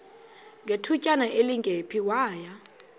ngethutyana elingephi waya